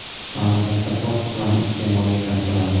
Mamlakatda fors tumani iste’molga kiritiladi.